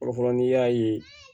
Fɔlɔ fɔlɔ n'i y'a ye